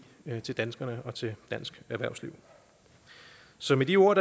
til danskerne og til dansk erhvervsliv så med de ord